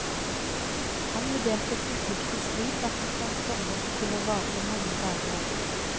Han vurderte konflikten slik at den kan komme til å vare i mange dager ennå.